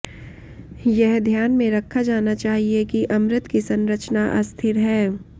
यह ध्यान में रखा जाना चाहिए कि अमृत की संरचना अस्थिर है